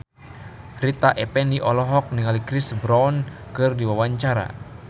Rita Effendy olohok ningali Chris Brown keur diwawancara